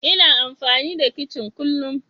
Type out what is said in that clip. Ina amfani da kicin kullun.